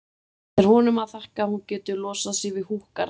Það er honum að þakka að hún getur losað sig við húkkarana.